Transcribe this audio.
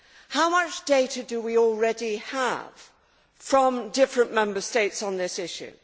How much data do we already have from different Member States on this issue?